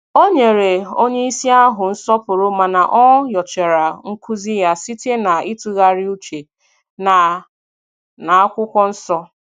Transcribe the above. Ọ nyere onyeisi ahụ nsọpụrụ mana o nyochara nkuzi ya site na itughari uche na n'akwụkwọ nsọ